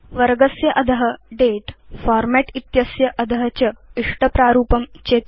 वर्गस्य अध दते फॉर्मेट् इत्यस्य अध च इष्टप्रारूपं चिनोतु